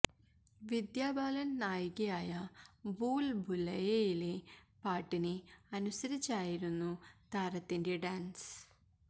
വിദ്യാ ബാലന് നായികയായ ഭൂല് ഭുലയ്യയിലെ പാട്ടിന് അനുസരിച്ചായിരുന്ന താരത്തിന്റെ ഡാന്സ്